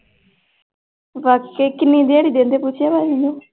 ਬਾਕੀ ਕਿੰਨੀ ਦਿਹਾੜੀ ਦਿੰਦੇ ਪੁੱਛਿਆ ਭਾਜੀ ਨੇ।